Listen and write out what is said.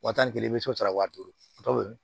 Waa tan ni kelen i bɛ se ka wa duuru